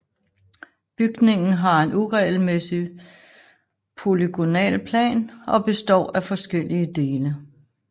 Bygningen har en uregelmæssig polygonal plan og består af forskellige dele